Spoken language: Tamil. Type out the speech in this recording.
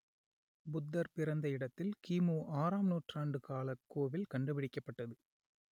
புத்தர் பிறந்த இடத்தில் கிமு ஆறாம் நூற்றாண்டு காலக் கோவில் கண்டுபிடிக்கப்பட்டது